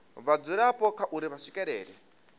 vhadzulapo kha uri vha swikelela